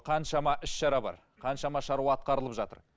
қаншама іс шара бар қаншама шаруа атқарлып жатыр